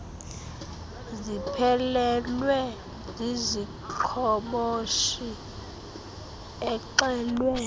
ziphelelwe ziziqhoboshi exelwe